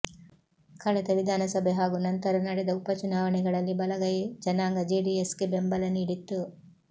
ಕಳೆದ ವಿಧಾನಸಭೆ ಹಾಗೂ ನಂತರ ನಡೆದ ಉಪಚುನಾವಣೆಗಳಲ್ಲಿ ಬಲಗೈ ಜನಾಂಗಜೆಡಿಎಸ್ಗೆ ಬೆಂಬಲ ನೀಡಿತ್ತು